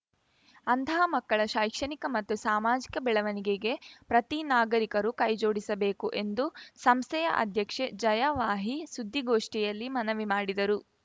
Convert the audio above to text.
ಅಂತಹ ಮಕ್ಕಳ ಶೈಕ್ಷಣಿಕ ಮತ್ತು ಸಾಮಾಜಿಕ ಬೆಳವಣಿಗೆಗೆ ಪ್ರತಿ ನಾಗರಿಕರು ಕೈ ಜೋಡಿಸಬೇಕು ಎಂದು ಸಂಸ್ಥೆಯ ಅಧ್ಯಕ್ಷೆ ಜಯಾ ವಾಹಿ ಸುದ್ದಿಗೋಷ್ಠಿಯಲ್ಲಿ ಮನವಿ ಮಾಡಿದರು